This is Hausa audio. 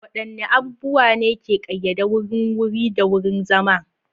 Waɗanne abubuwa ne ke ƙayyade wurin wuri da wurin zama?